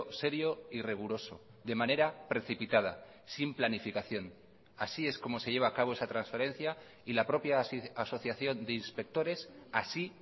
serio y riguroso de manera precipitada sin planificación así es como se lleva a cabo esa transferencia y la propia asociación de inspectores así